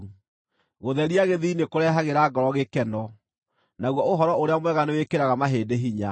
Gũtheria gĩthiithi nĩkũrehagĩra ngoro gĩkeno, naguo ũhoro ũrĩa mwega nĩwĩkĩraga mahĩndĩ hinya.